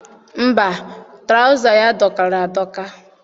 Mba, tụrawụza ya dọkara adọka.